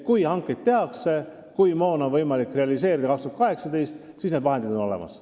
Kui hankeid tehakse ja kui moon on võimalik hankida 2018, siis on vahendid olemas.